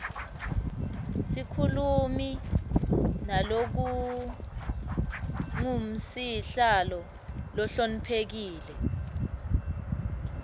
sikhulumi nalokangusihlalo lohloniphekile